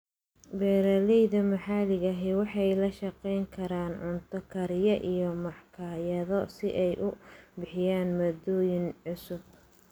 Beeralayda maxaliga ahi waxay la shaqayn karaan cunto kariye iyo makhaayado si ay u bixiyaan maaddooyin cusub.